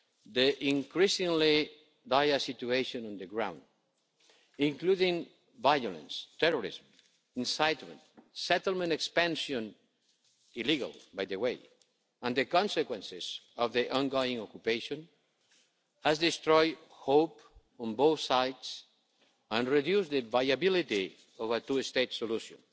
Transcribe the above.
The increasingly dire situation on the ground, including violence, terrorism, incitement, settlement expansion illegal, by the way and the consequences of the ongoing occupation, has destroyed hope on both sides and reduced the viability of a two state solution.